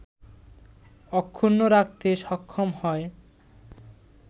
অক্ষুণ্ন রাখতে সক্ষম হয়